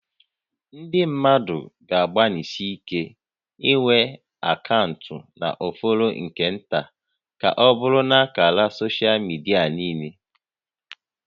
Ndị mmadụ ga-agbanịsi ike inwe akaụntụ na ọ fọrọ nke nta ka ọbụrụ na ákàrà soshal midia niile